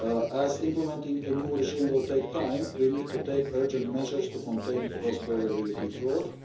As implementing a new regime will take time, we need to take urgent measures to contain cross-border VAT fraud.